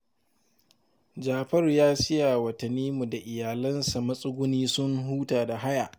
Jafaru ya siya wa Tanimu da iyalansa matsuguni sun huta da haya